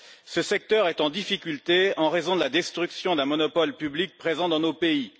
Ce secteur est en difficulté en raison de la destruction d'un monopole public présent dans nos pays.